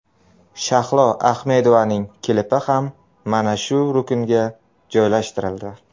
Shahlo Ahmedovaning klipi ham mana shu ruknga joylashtirildi .